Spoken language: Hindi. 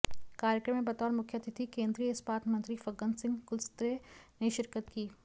कार्यक्रम में बतौर मुख्य अतिथि केंद्रीय इस्पात मंत्री फग्गन सिंह कुलस्ते ने शिरकत की